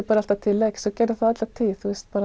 bara alltaf til leiks og gerði það alla tíð